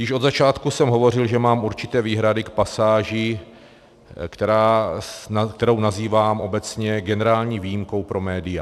Již od začátku jsem hovořil, že mám určité výhrady k pasáži, kterou nazývám obecně generální výjimkou pro média.